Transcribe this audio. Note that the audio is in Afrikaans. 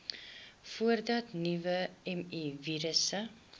voordat nuwe mivirusse